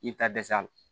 I bɛ taa dɛsɛ a la